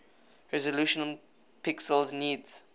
resolution pixels needs